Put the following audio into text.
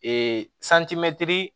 Ee